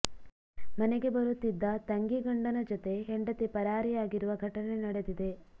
ಮನೆಗೆ ಬರುತ್ತಿದ್ದ ತಂಗಿ ಗಂಡನ ಜೊತೆ ಹೆಂಡತಿ ಪರಾರಿಯಾಗಿರುವ ಘಟನೆ ನಡೆದಿದೆ